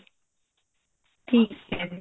ਠੀਕ ਹੈ ਜੀ